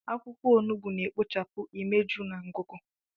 Akwụkwọ onugbu na-ekpochapụ imeju na ngụgụ.